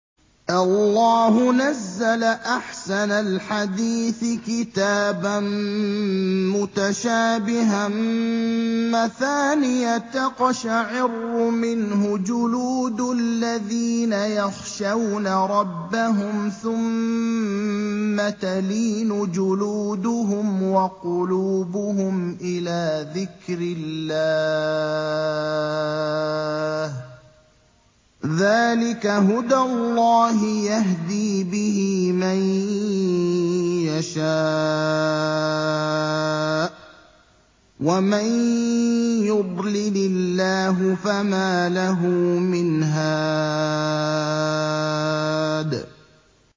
اللَّهُ نَزَّلَ أَحْسَنَ الْحَدِيثِ كِتَابًا مُّتَشَابِهًا مَّثَانِيَ تَقْشَعِرُّ مِنْهُ جُلُودُ الَّذِينَ يَخْشَوْنَ رَبَّهُمْ ثُمَّ تَلِينُ جُلُودُهُمْ وَقُلُوبُهُمْ إِلَىٰ ذِكْرِ اللَّهِ ۚ ذَٰلِكَ هُدَى اللَّهِ يَهْدِي بِهِ مَن يَشَاءُ ۚ وَمَن يُضْلِلِ اللَّهُ فَمَا لَهُ مِنْ هَادٍ